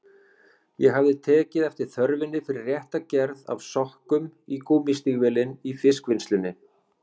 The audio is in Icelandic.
Ég hafði tekið eftir þörfinni fyrir rétta gerð af sokkum í gúmmístígvélin í fiskvinnslunni.